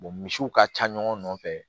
misiw ka ca ɲɔgɔn nɔfɛ